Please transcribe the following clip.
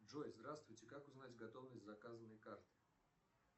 джой здравствуйте как узнать готовность заказанной карты